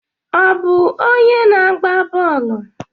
Ọ bụ onye na-agba bọọlụ?